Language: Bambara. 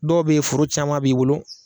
Dɔw bɛ yen foro caman b'i bolo,